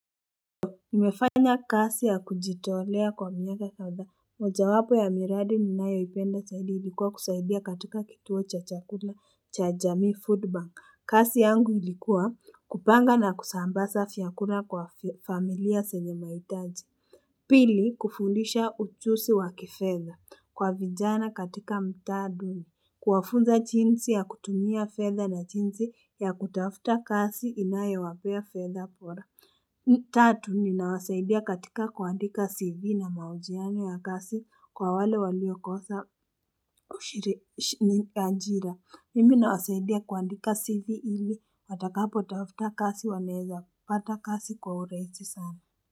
Nimefanya kazi ya kujitolea kwa miaka kadhaa, moja wapo ya miradi niinayoipenda zaidi ilikuwa kusaidia katika kituo cha chakula cha jamii food bank. Kazi yangu ilikuwa kupanga na kusambaza vyakula kwa familia zenye mahitaji. Pili, kufundisha ujuzi wa kifedha kwa vijana katika mtaa duni kuwafunza jinsi ya kutumia fedha na jinsi ya kutafuta kazi inayowapea fedha bora tatu ninawasaidia katika kuandika cv na mahojiano ya kazi kwa wale waliokosa ushiri anjira mimi ninawasaidia kuandika cv ili watakapo tafuta kazi wanawezapata kazi kwa urahisi sana.